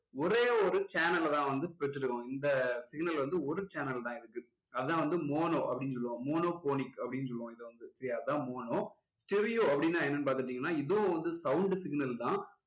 ஒரே ஒரு channel ல தான் வந்து பெற்று இருக்கும் இந்த signal வந்து ஒரு channel தான் இருக்கு அதான் வந்து mono அப்படின்னு சொல்லுவோம். monophonic அப்படின்னு சொல்லுவோம் இதை வந்து சரியா அதான் mono, stereo அப்படின்னா என்னன்னு பாத்துக்கிட்டீங்கன்னா இதுவும் வந்து sound signal தான்